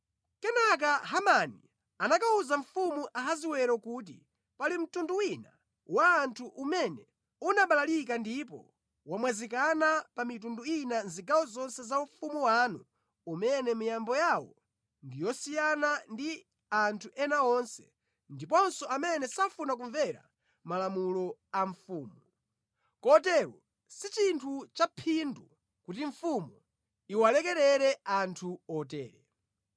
Kenaka Hamani anakawuza mfumu Ahasiwero kuti, “Pali mtundu wina wa anthu umene unabalalika ndipo wamwazikana pa mitundu ina mʼzigawo zonse za ufumu wanu umene miyambo yawo ndi yosiyana ndi ya anthu ena onse ndiponso amene safuna kumvera malamulo a mfumu, kotero si chinthu cha phindu kuti mfumu iwalekerere anthu otere.